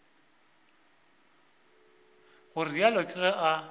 go realo ke ge a